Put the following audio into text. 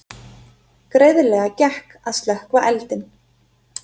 Greiðlega gekk að slökkva eldinn